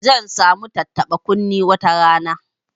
Zan sa mu tattaba kunne wata rana